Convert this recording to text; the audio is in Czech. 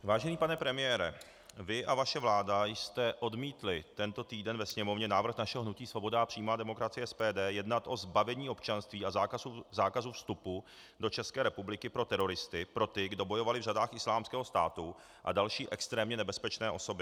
Vážený pane premiére, vy a vaše vláda jste odmítli tento týden ve Sněmovně návrh našeho hnutí Svoboda a přímá demokracie - SPD jednat o zbavení občanství a zákazu vstupu do České republiky pro teroristy, pro ty, kdo bojovali v řadách Islámského státu, a další extrémně nebezpečné osoby.